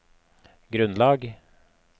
grunnlag